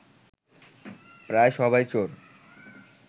প্রায় সবাই চোর